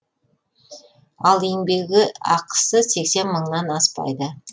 ал еңбегі ақысы сексен мыңнан аспайды